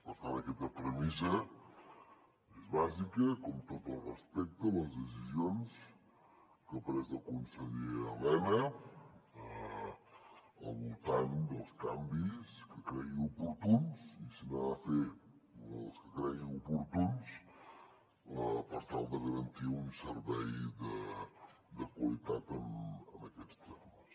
per tant aquesta premissa és bàsica com tot el respecte a les decisions que ha pres el conseller elena al voltant dels canvis que cregui oportuns i si n’ha de fer els que cregui oportuns per tal de garantir un servei de qualitat en aquests termes